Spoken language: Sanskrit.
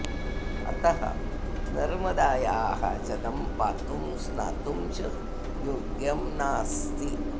अतः नर्मदायाः जलं पातुं स्नातुं च योग्यं नास्ति